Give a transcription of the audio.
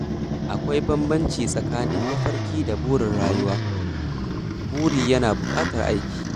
Akwai bambanci tsakanin mafarki da burin rayuwa—burin yana buƙatar aiki.